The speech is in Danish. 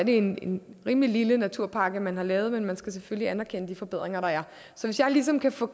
en rimelig lille naturpakke man har lavet men man skal selvfølgelig anerkende de forbedringer der er så hvis jeg ligesom kan få